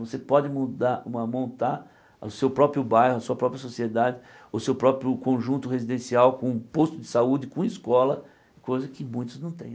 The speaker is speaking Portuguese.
Você pode mudar uma montar o seu próprio bairro, a sua própria sociedade, o seu próprio conjunto residencial com posto de saúde, com escola, coisa que muitos não têm.